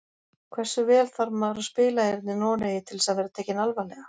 Hversu vel þarf maður að spila hérna í Noregi til þess að vera tekinn alvarlega?